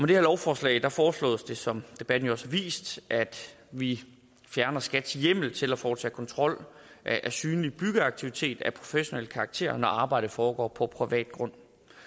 det her lovforslag foreslås det som debatten også har vist at vi fjerner skats hjemmel til at foretage kontrol af synlig byggeaktivitet af professionel karakter når arbejdet foregår på privat grund